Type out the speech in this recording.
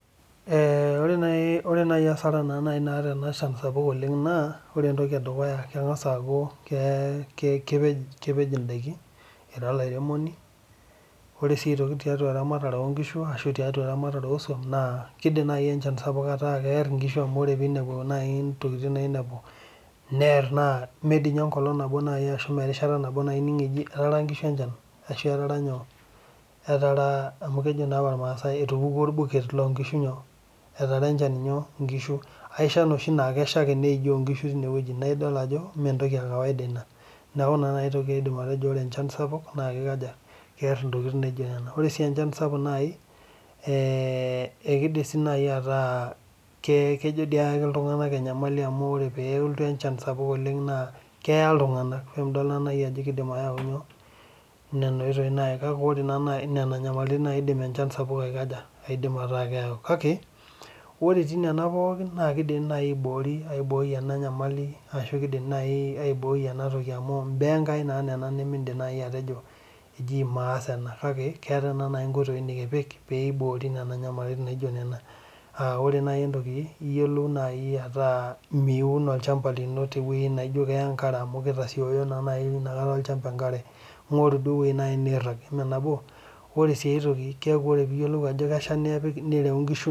Ehh ore nai ore nai asara naa nai naata ena shan sapuk oleng' naa ore entoki edukuya keng'as aaku [kee] kepej indaiki ira olairemoni, ore sii aitoki tiatua eramatare oonkishu ashu tiatua eramatare osuam naa keidim nai enchan sapuk ataa kearr inkishu amu ore peinepu nai intokitin nainepu nearr naa mee diinye enkolong' nabo nai ashu meerishata nabo nai ining' eji etaara nkishu enchan ashu etaara nyoo, etaraa amu kejo naapa ilmaasai etupukuo olbuket lonkishu nyoo?, etara enchan inyoo? Inkishu. Aesha noshi naa kesha ake neijoo nkishu teinewueji naidol ajo meentoki e kawaida ina. Neaku ina nai toki aidim atejo ore enchan sapuk naakeikaja? Kearr intokitin naijo nena. Ore sii enchan sapuk nai [eeeh] eikidim sii nai ataa kee kejo dii eaki iltung'ana enyamali amu ore peelotu enchan sapuk oleng' naa keaya iltung'anak, ke midol naa nai ajo keidim ayau nyoo ? nena oitoi nai kake ore naa nai nena nyamalitin naakeidim enchan sapuk aikaja? Aidim ataa keyau. Kake, ore etii nena pooki nakeidim nai aiboori aibooi ena nyamali ashu keidim nai aibooi ena toki amu imbaa eNkai naa nena nimindim nai atejo eji maas ena kake, keetai naa nai inkoitoi nikipik peiboori nena nyamalitin naijo nena. Aah ore nai entoki iyiolou nai ataa miun olchamba lino tewuei naijo kea enkare amu keitasioyo naa nai inakata olchamba enkare, ing'oru duo ewuei nai neirrag, imee nabo? Ore sii aitoki keaku ore piiyiolou ajo kesha nipik nireu nkishu.